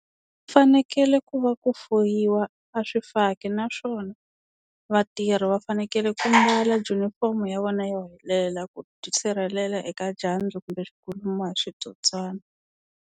Fanekele ku va ku fuyiwa a swifaki naswona vatirhi va fanekele ku mbala junifomo ya vona yo helela ku tisirhelela eka dyandza kumbe ku lumiwa hi switsotswani.